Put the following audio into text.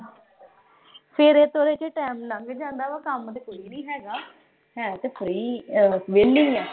ਤੋਰੇ-ਫੇਰੇ ਚ ਹੀ ਟਾਈਮ ਲੰਘ ਜਾਂਦਾ ਗਾ, ਕੰਮ ਤੇ ਕੋਈ ਨੀਂ ਹੈਗਾ। ਹੈ ਤੇ ਸਹੀ, ਬਸ ਵਿਹਲੇ ਆਂ।